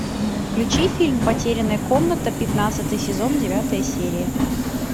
включи фильм потерянная комната пятнадцатый сезон девятая серия